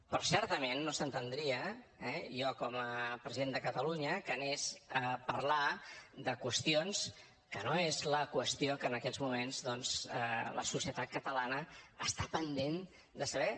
però certament no s’entendria eh jo com a president de catalunya que anés a parlar de qüestions que no és la qüestió que en aquests moments doncs la societat catalana està pendent de saber